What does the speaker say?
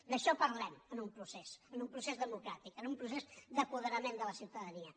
d’això parlem en un procés en un procés democràtic en un procés d’apoderament de la ciutadania